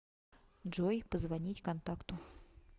джой позвонить контакту